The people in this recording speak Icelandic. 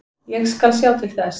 Ég skal sjá til þess.